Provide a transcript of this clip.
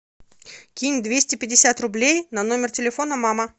кинь двести пятьдесят рублей на номер телефона мама